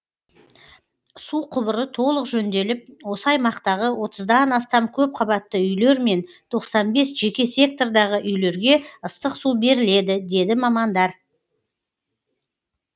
су құбыры толық жөнделіп осы аймақтағы отыздан астам көпқабатты үйлер мен тоқсан бес жеке сектордағы үйлерге ыстық су беріледі деді мамандар